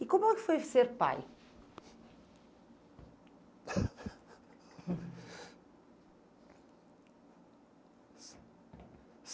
E como é que foi ser pai?